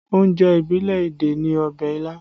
Oúnjẹ ìbílẹ̀ Ẹdẹ ni ọbẹ̀ ilá